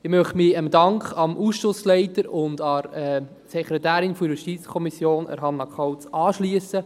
Ich möchte mich dem Dank an den Ausschussleiter und an die Sekretärin der JuKo, Hannah Kauz, anschliessen.